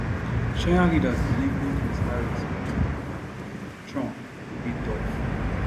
china leaders believe both ms harris um and um trump go dey tough